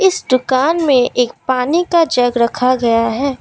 इस दुकान में एक पानी का जग रखा गया है।